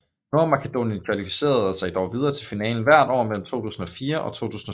Nordmakedonien kvalificerede sig dog videre til finalen hvert år mellem 2004 og 2007